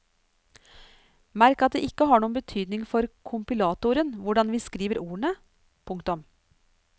Merk at det ikke har noen betydning for kompilatoren hvordan vi skriver ordene. punktum